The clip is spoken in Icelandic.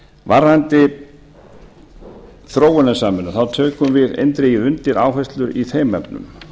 varðandi þróunarsamvinnu tökum við eindregið undir áherslu í þeim efnum